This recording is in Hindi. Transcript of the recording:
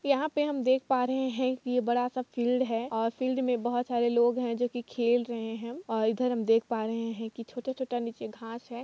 यहा पे हम देख पा रहे हे की य इ बड़ा सा फिल्ड है और फिल्ड में बहोत सारे लोग हे जो की खेल रहे है और इधर हम देख पा रहे हे की छोटा-छोटा निचे घास हैं।